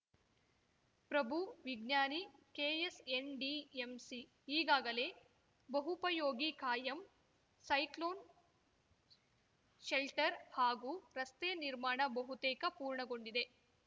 ಪ್ರಭು ವಿಜ್ಞಾನಿ ಕೆಎಸ್‌ಎನ್‌ಡಿಎಂಸಿ ಈಗಾಗಲೇ ಬಹೂಪಯೋಗಿ ಕಾಯಂ ಸೈಕ್ಲೋನ್‌ ಶೆಲ್ಟರ್‌ ಹಾಗೂ ರಸ್ತೆ ನಿರ್ಮಾಣ ಬಹುತೇಕ ಪೂರ್ಣಗೊಂಡಿದೆ